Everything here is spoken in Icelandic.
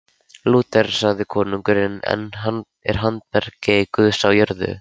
Lúter sagði: Konungurinn er handbendi Guðs á jörðu.